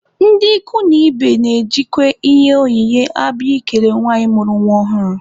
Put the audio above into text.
Ndị ikwu na ibe na-ejikwa ihe onyinye abịa ikele nwanyị mụrụ nwa ọhụrụ.